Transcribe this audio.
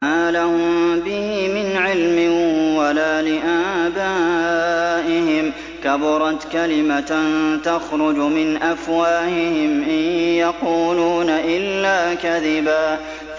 مَّا لَهُم بِهِ مِنْ عِلْمٍ وَلَا لِآبَائِهِمْ ۚ كَبُرَتْ كَلِمَةً تَخْرُجُ مِنْ أَفْوَاهِهِمْ ۚ إِن يَقُولُونَ إِلَّا كَذِبًا